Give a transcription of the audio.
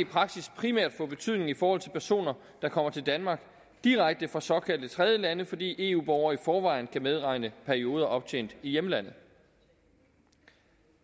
i praksis primært få betydning i forhold til personer der kommer til danmark direkte fra såkaldte tredjelande fordi eu borgere i forvejen kan medregne perioder optjent i hjemlandet